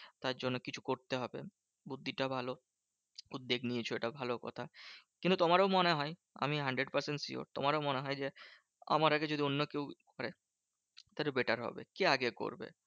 তার জন্য কিছু করতে হবে। বুদ্ধিটা ভালো উদ্বেগ নিয়েছো এটাও ভালো কথা। কিন্তু তোমারও মনে হয় আমি hundred percent sure তোমারও মনে হয় যে, আমার আগে যদি অন্য কেউ মানে তাহলে better হবে, কে আগে করবে?